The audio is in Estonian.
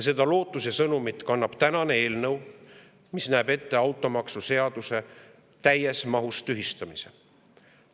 Ja lootuse sõnumit kannab tänane eelnõu, mis näeb ette automaksuseaduse täies mahus tühistamise.